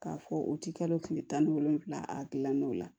K'a fɔ u ti kalo kile tan ni wolonwula a gilan n'o la